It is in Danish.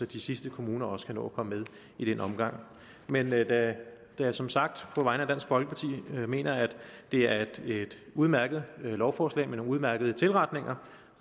de sidste kommuner også kan nå at komme med i den omgang men da jeg som sagt på vegne af dansk folkeparti mener at det er et udmærket lovforslag med nogle udmærkede tilretninger